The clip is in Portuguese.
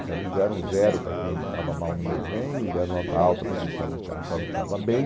Então, eles deram zero para quem estava mal no desenho e deram nota alta para quem estava achava que estava bem.